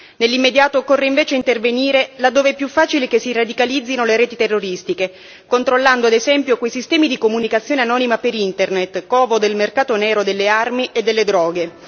Nell'immediato occorre invece intervenire laddove è più facile che si radicalizzino le reti terroristiche, controllando ad esempio, quei sistemi di comunicazione anonima per Internet, covo del mercato nero delle armi e delle droghe.